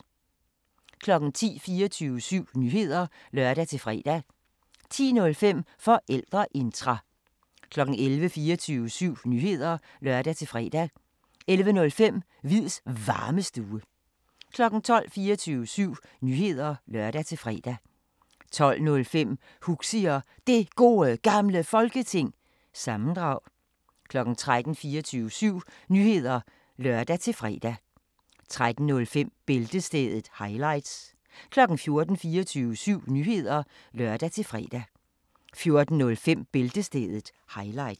10:00: 24syv Nyheder (lør-fre) 10:05: Forældreintra 11:00: 24syv Nyheder (lør-fre) 11:05: Hviids Varmestue 12:00: 24syv Nyheder (lør-fre) 12:05: Huxi Og Det Gode Gamle Folketing- sammendrag 13:00: 24syv Nyheder (lør-fre) 13:05: Bæltestedet – highlights 14:00: 24syv Nyheder (lør-fre) 14:05: Bæltestedet – highlights